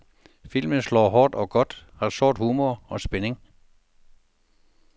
Filmen slår hårdt og godt, har sort humor og spænding.